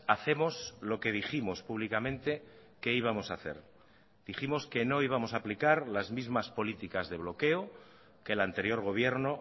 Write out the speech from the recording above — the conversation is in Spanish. hacemos lo que dijimos públicamente que íbamos a hacer dijimos que no íbamos a aplicar las mismas políticas de bloqueo que el anterior gobierno